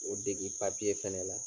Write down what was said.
O degi fɛnɛ la